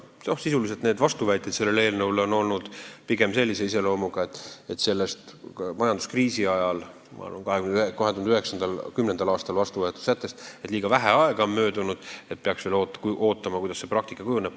Sisuliselt on vastuväited sellele eelnõule olnud pigem sellise iseloomuga, et on arvatud, et sellest majanduskriisi ajal ehk siis 2009., 2010. aastal vastu võetud sättest on liiga vähe aega möödunud ja peaks veel vaatama, milliseks praktika kujuneb.